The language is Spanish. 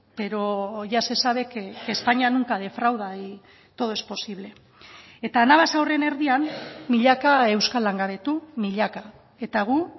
pero ya se sabe que españa nunca defrauda y todo es posible eta anabasa horren erdian milaka euskal langabetu milaka eta gu